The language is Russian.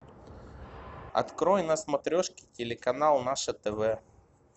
открой на смотрешке телеканал наше тв